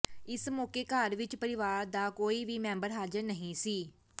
ਇਸ ਮੌਕੇ ਘਰ ਵਿਚ ਪਰਿਵਾਰ ਦਾ ਕੋਈ ਵੀ ਮੈਂਬਰ ਹਾਜ਼ਰ ਨਹੀਂ ਸੀ